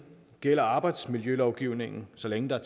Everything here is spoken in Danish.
gælder arbejdsmiljølovgivningen så længe der